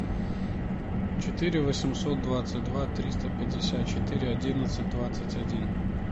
четыре восемьсот двадцать два триста пятьдесят четыре одиннадцать двадцать один